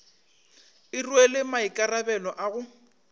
e rwele maikarabelo a go